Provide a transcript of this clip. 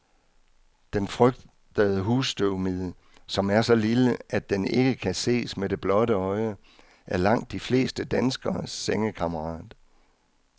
Den frygtede husstøvmide, som er så lille, at den ikke kan ses med det blotte øje, er langt de fleste danskeres sengekammerat.